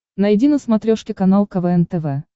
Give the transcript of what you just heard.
найди на смотрешке канал квн тв